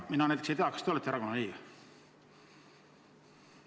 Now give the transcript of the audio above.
Mina näiteks ei tea, kas te olete erakonna liige?